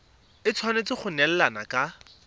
e tshwanetse go neelana ka